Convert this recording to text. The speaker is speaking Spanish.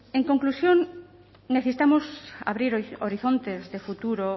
en conclusión necesitamos abrir horizontes de futuro